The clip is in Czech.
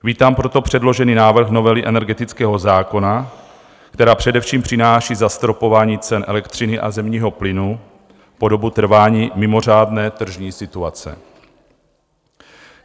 Vítám proto předložený návrh novely energetického zákona, která především přináší zastropování cen elektřiny a zemního plynu po dobu trvání mimořádné tržní situace.